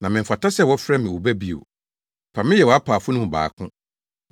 na memfata sɛ wɔfrɛ me wo ba bio; fa me yɛ wʼapaafo no mu baako.’